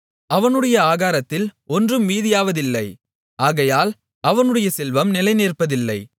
அவனுடைய ஆகாரத்தில் ஒன்றும் மீதியாவதில்லை ஆகையால் அவனுடைய செல்வம் நிலைநிற்பதில்லை